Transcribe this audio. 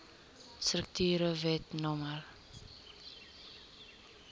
strukture wet no